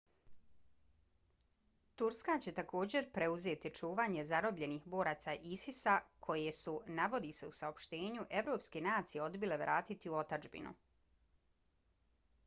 turska će također preuzeti čuvanje zarobljenih boraca isis-a koje su navodi se u saopštenju evropske nacije odbile vratiti u otadžbinu